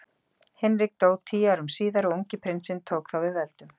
Hinrik dó tíu árum síðar og ungi prinsinn tók þá við völdum.